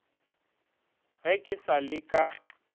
ge ke sa le ka